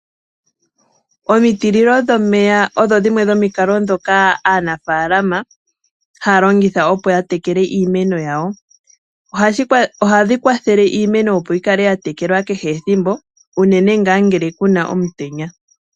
Omitililo dhomeya odho dhimwe dhomikalo ndhoka aanafalama haya longitha yatekele iimeno yawo. Ohadhi kwathele iimeno, opo yikale yatekekwa kehe ethimbo unene ngaa ngele kuna omutenya.